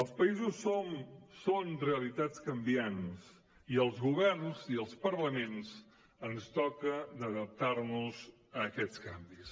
els països som són realitats canviants i als governs i als parlaments ens toca d’adaptar nos a aquests canvis